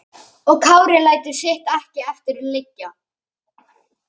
Og Kári lætur sitt ekki eftir liggja.